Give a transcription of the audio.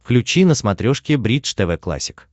включи на смотрешке бридж тв классик